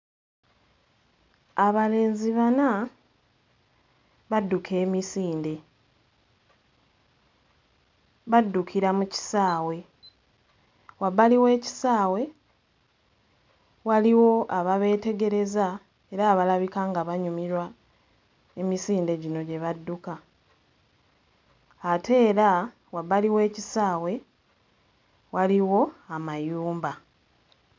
Abalenzi bana badduka emisinde, baddukira mu kisaawe, wabbali w'ekisaawe waliwo ababeetegereza era abalabika nga banyumirwa emisinde gino gye badduka ate era wabbali w'ekisaawe waliwo amayumba.